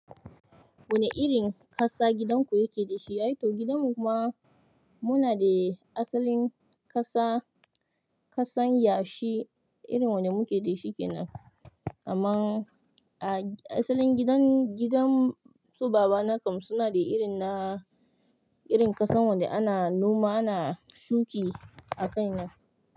Wane irin ƙasa gidanku yake da shi? Eh to gidan mu ma muna da asalin ƙasa, ƙasan yashi irin wanda muke da shi kenan. Amma a asalin gidan, gidan su baba na kam suna da irin na, irin ƙasan wanda ana noma, ana shuki a kai na.